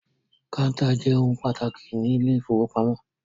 Kọ́ńtà jẹ́ ohun pàtàkì nínú ilé-ìfowópamọ́sí.